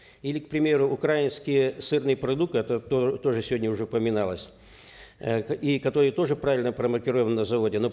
или к примеру украинский сырный продукт это тоже сегодня уже упоминалось э и который тоже правильно промаркирован на заводе но